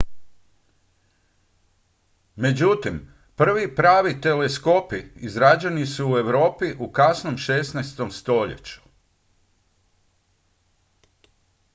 međutim prvi pravi teleskopi izrađeni su u europi u kasnom 16. stoljeću